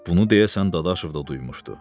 Bunu deyəsən Dadaşov da duymuşdu.